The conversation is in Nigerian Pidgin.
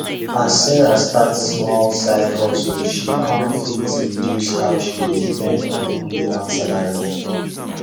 as sarah start small side hustle she kan fit reduce how she dey depend on only one salary